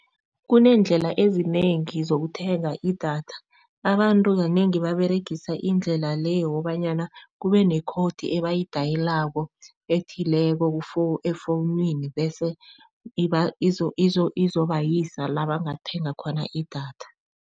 Kuneendlela ezinengi zokuthenga idatha, abantu kanengi baberegisa indlela le yokobanyana kube ne-code ebayidayelako ethileko efowunini bese izobasa la bangathenga khona idatha.